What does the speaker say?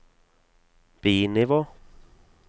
bi-nivå